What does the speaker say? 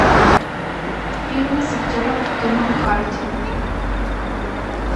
фильмы с актером томом харди